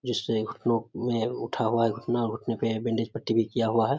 जिससे घुटनो में उठा हुआ है घुटना और घुटने पे बैंडेज पट्टी भी किया हुआ है।